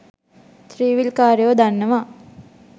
ත්‍රීවීල්කාරයෝ දන්නවා